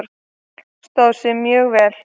Stóð sig mjög vel.